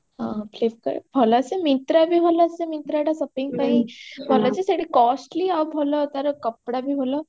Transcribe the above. ହଁ Flipkart ଭଲ ଆସେ myntra ବି ଭଲ ଆସେ myntra ଟା shopping ପାଇଁ ଭଲ ଯେ ସେଇଠି costly ଆଉ ଭଲ ଭଲ ତାର କପଡା ବି ଭଲ